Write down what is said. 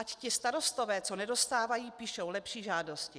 Ať ti starostové, co nedostávají, píšou lepší žádosti.